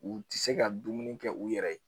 U tɛ se ka dumuni kɛ u yɛrɛ ye